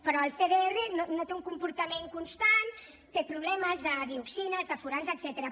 però el cdr no té un comportament constant té problemes de dioxines de furans etcètera